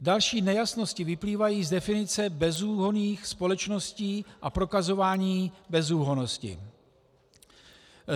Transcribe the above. Další nejasnosti vyplývají z definice bezúhonných společností a prokazování bezúhonnosti.